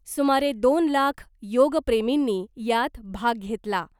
सुमारे दोन लाख योगप्रेमींनी यात भाग घेतला .